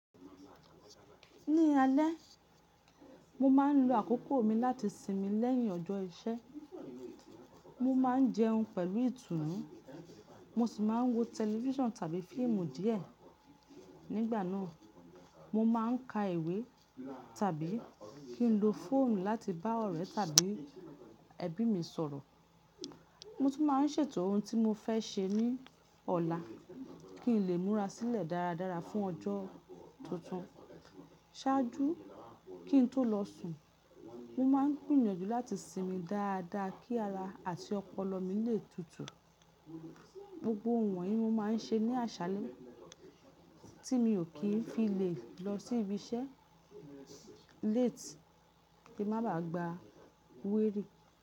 Ní alẹ́, mo máa ń lo àkókò mi láti sinmi lẹ́yìn ọjọ́ iṣẹ́. Mo máa ń jẹun pẹ̀lú ìtùnú, mo sì máa ń wo tẹlifíṣàn tàbí fíìmù díẹ̀. Nígbà náà, mo máa ń ka ìwé tàbí kí n lo fóònù láti bá ọ̀rẹ́ tàbí ẹbí mi sọ̀rọ̀. Mo tún máa ń ṣètò ohun tí mo fẹ́ ṣe ní ọ̀la kí n lè múra sílẹ̀ dáradára fún ọjọ́ tuntun. Ṣáájú kí n tó lọ sùn, mo máa ń gbìyànjú láti sinmi dáadáa kí ara àti ọpọlọ mi lè tutù. Gbogbo wọ̀n yìí mo máa ń ṣe ní àṣálẹ́ tí mi ò kí ń fi lè lọ sí ibi iṣẹ́ late kí n má ba à gba query.